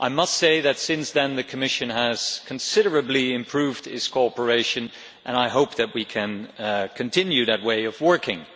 I must say that since then the Commission has considerably improved its cooperation, and I hope that we can continue that way of working.